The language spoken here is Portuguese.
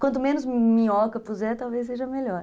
Quanto menos minhoca puser, talvez seja melhor.